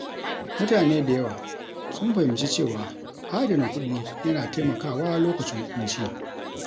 Mutane da yawa sun fahimci cewa adana kuɗi yana taimakawa lokacin ƙunci.